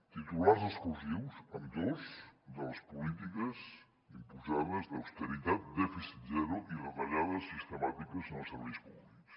titulars exclusius ambdós de les polítiques imposades d’austeritat dèficit zero i retallades sistemàtiques en els serveis públics